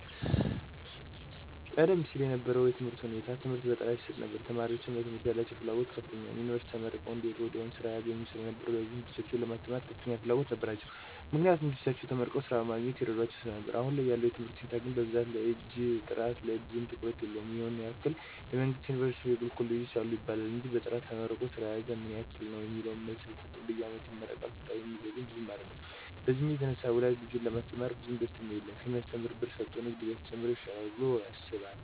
ቀደም ሲል የነበረው የትምህርት ሁኔታ ትምህርት በጥራት ይሰጥ ነበር ተማሪወችም ለትምህርት ያላቸው ፍላጎት ከፍተኛ ነው። ዮኒቨርስቲ ተመርቀው አንደወጡ ወዲያው ስራ ያገኙ ስለነበር ወላጆችም ልጆቻቸውን ለማስተማር ከፍተኛ ፍላጎት ነበራቸው። ምክንያቱም ልጆቻቸው ተመርቀው ስራ በማግኘት ይረዷቸው ስለነበር አሁን ያለው የትምህርት ሁኔታ ግን ብዛት ላይ እንጅ ጥራት ላይ ብዙም ትኩረት የለውም ይህን ያህል የመንግስት ዮኒቨርስቲወች እና የግል ኮሌጆች አሉ ይባላል እንጅ በጥራት ተመርቆ ስራ የያዘው ምን ያህል ነው የሚለውን መልስ አይሰጥም በየአመቱ ይመረቃል ስራ የሚይዝ ግን ብዙም አይደለም በዚህ የተነሳ ወላጅ ልጁን ለማስተማር ብዙም ደስተኛ አይደለም ከሚያሰተምር ብር ሰጦ ንግድ ቢጀምር ይሻላል ብሎ ያስባል።